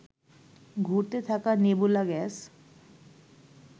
ঘুরতে থাকা nebula gas